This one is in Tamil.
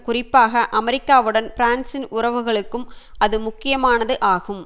குறிப்பாக அமெரிக்காவுடன் பிரான்சின் உறவுகளுக்கும் அது முக்கியமானது ஆகும்